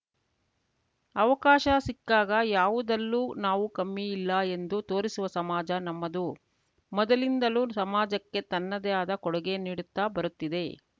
ಅವಕಾಶ ಸಿಕ್ಕಾಗ ಯಾವುದಲ್ಲೂ ನಾವು ಕಮ್ಮಿ ಇಲ್ಲ ಎಂದು ತೋರಿಸುವ ಸಮಾಜ ನಮ್ಮದು ಮೊದಲಿಂದಲೂ ಸಮಾಜಕ್ಕೆ ತನ್ನದೇ ಆದ ಕೊಡುಗೆ ನೀಡುತ್ತಾ ಬರುತ್ತಿದೆ